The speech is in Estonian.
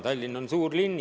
Tallinn on suur linn.